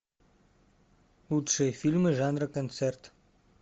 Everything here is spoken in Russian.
лучшие фильмы жанра концерт